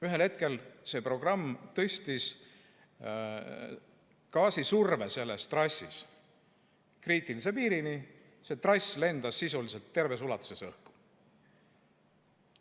Ühel hetkel see programm tõstis gaasisurve selles trassis kriitilise piirini, nii et see trass lendas sisuliselt terves ulatuses õhku.